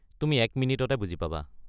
তুমি এক মিনিটতে বুজি পাবা।